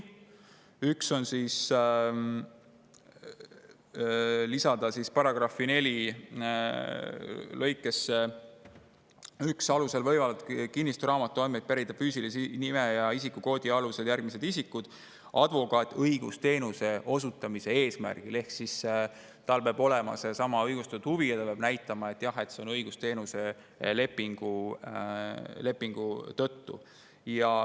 Üks näeb ette, et lisaks §‑s 41 nimetatud alustele võib kinnistusraamatu andmeid pärida füüsilise nime ja isikukoodi alusel ka advokaat õigusteenuse osutamise eesmärgil ehk tal peab olema seesama õigustatud huvi ja ta peab näitama, et jah, see on õigusteenuse lepingu tõttu.